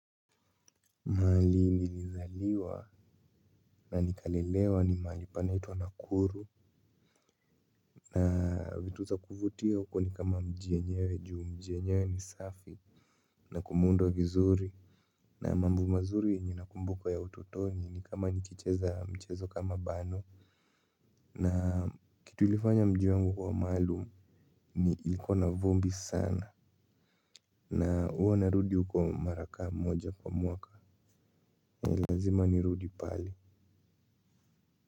Mahali nilizaliwa na nikalelewa ni mahali panaitwa Nakuru. Na vitu za kuvutia huko ni kama mji yenyewe ju mji yenyewe ni safi. Na kumeundwa vizuri na mambo mazuri yenye nakumbuka ya utotoni ni kama nikicheza mchezo kama bano. Na kitu ilifanya mji wangu kuwa maalum ni ilikuwa na vumbi sana. Na huwa narudi huko mara ka moja kwa mwaka na lazima nirudi pale.